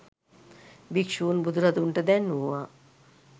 භික්‍ෂූන් බුදුරදුන්ට දැන්වූවා.